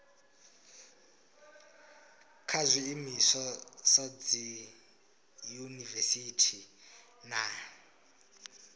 kha zwiimiswa sa dziyunivesiti na